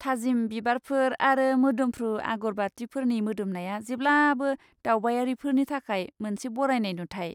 थाजिम बिबारफोर आरो मोदोमफ्रु आगरबातिफोरनि मोदोमनाया जेब्लाबो दावबायारिफोरनि थाखाय मोनसे बरायनाय नुथाइ।